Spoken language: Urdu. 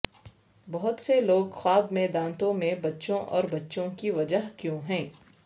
بہت سے لوگ خواب میں دانتوں میں بچوں اور بچوں کی وجہ کیوں ہیں